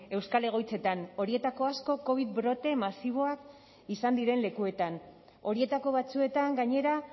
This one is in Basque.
euskal egoitzetan horietako asko covid brote masiboak izan diren lekuetan horietako batzuetan gainera